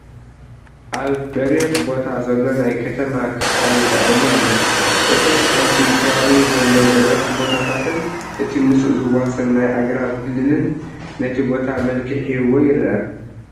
ኣብ በሪክ ቦታ ዘሎ ናይ ከተማ ኽፋል ይርአየና ኣሎ፡፡ እቶም ኣብቲ ከባቢኡ ዘለው በረኽቲ ቦታታን እቲ ምስኡ ዝዋሰን ናይ ኣግራብ ክልልን ነቲ ቦታ መልክዕ ሂብዎ ይርአ፡፡